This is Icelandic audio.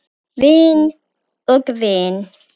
Vinn og vinn?